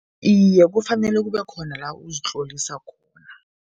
Iye, kufanele kube khona la uzitlolisa khona.